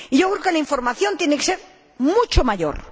Yo creo que la información tiene que ser mucho mayor.